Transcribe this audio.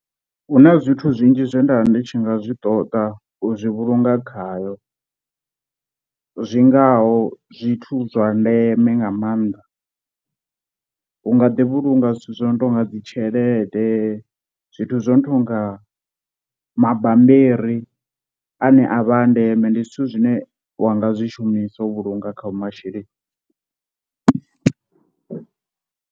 Hu na zwithu zwinzhi zwe nda ndi tshi nga zwi ṱoḓa u zwi vhulunga khayo zwingaho zwithu zwa ndeme nga maanḓa, u nga ḓi vhulunga zwithu zwo no tou nga dzi tshelede, zwithu zwo no tonga mabambiri ane a vha a ndeme ndi zwithu zwine wa nga zwishumisa u vhulunga khao masheleni.